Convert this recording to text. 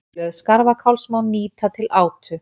blöð skarfakáls má nýta til átu